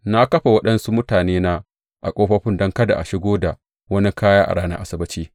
Na kafa waɗansu mutanena a ƙofofin don kada a shigo da wani kaya a ranar Asabbaci.